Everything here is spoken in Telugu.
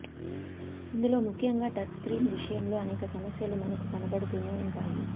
ఇందులో ముఖ్యంగా టచ్ స్క్రీన్ విషయంలో అనేక సమస్యలు మనకు కనబడుతూనే ఉంటాయి